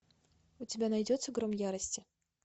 у тебя найдется гром ярости